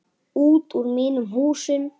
Út úr mínum húsum!